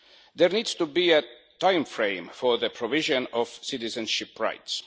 There needs to be a time frame for the provision of citizenship rights.